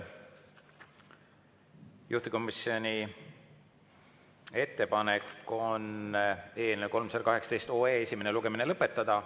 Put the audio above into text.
Juhtivkomisjoni ettepanek on eelnõu 318 esimene lugemine lõpetada.